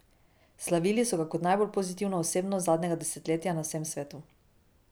Slavili so ga kot najbolj pozitivno osebnost zadnjega desetletja na vsem svetu.